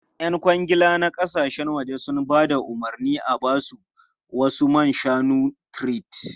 Yan kwangila na kasashen waje sun ba da umarnin a ba su wasu man shanun tart.